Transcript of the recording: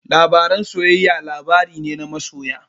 Labaren soyayya labari ne na masoya.